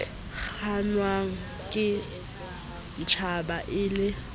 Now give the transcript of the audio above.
kgannwang ke stjhaba e le